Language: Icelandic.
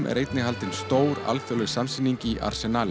er einnig haldin stór alþjóðleg samsýning í